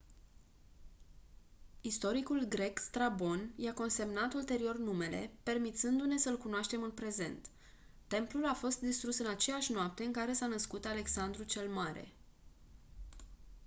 istoricul grec strabon i-a consemnat ulterior numele permițându-ne să-l cunoaștem în prezent templul a fost distrus în aceeași noapte în care s-a născut alexandru cel mare